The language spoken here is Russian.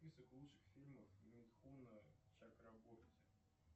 список лучших фильмов митхуна чакраборти